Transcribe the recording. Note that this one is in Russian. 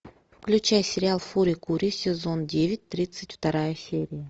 включай сериал фури кури сезон девять тридцать вторая серия